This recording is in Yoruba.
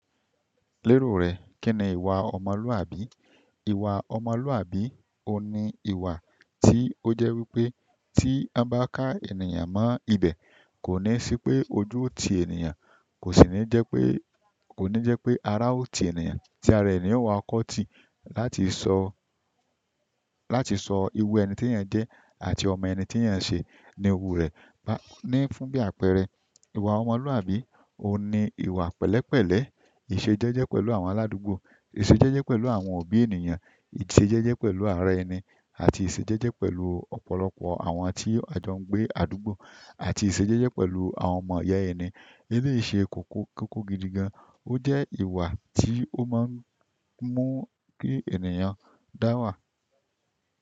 Lérò rẹ̀, kí ni ìwà ọmọlúàbí? Ìwà ọmọlúàbí ò ní ìwà tí ó jẹ́ wípé tí a bá ká ènìyàn mọ́ ibè kò ní sí pé ojú ò ti ènìyàn, kò sì ní jẹ́ pé, kò ní jẹ́ pé ara ò ti ènìyàn, tí ara ẹni ò wà kọ́ tì. Láti sọ, láti sọ ìwù ẹni tí èèyàn jẹ́ àti ọmọ ẹni tí èèyàn ṣe ni ìwù rẹ̀. Ba ní fún bí àpẹẹrẹ, ìwà ọmọlúàbí ò ní ìwà pẹ̀lẹ́pẹ̀lẹ́, ìṣejẹ́jẹ́ pẹ̀lú àwọn aládùúgbò, ìṣejẹ́jẹ́ pẹ̀lú àwọn òbí ènìyàn, ìṣejẹ́jẹ́ pẹ̀lú ara ẹni àti ìṣejẹ́jẹ́ pẹ̀lú ọ̀pọ̀lọpọ̀ àwọn tí a jọ ń gbé àdúgbò àti ìṣejẹ́jẹ́ pẹ̀lú àwọn ọmọ ìyá ẹni. Eléyìí ṣe kókó, kókó gidi gan. Ó jẹ́ ìwà tí ó máa ń mú kí ènìyàn dáwà.